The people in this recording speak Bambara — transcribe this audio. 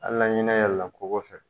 Hali ni ɲinɛ yɛlɛla kogo fɛ